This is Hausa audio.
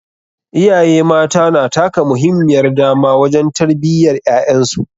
Iyaye mata na taka muhimmiyar dama wajen tarbiyyar ƴaƴan su.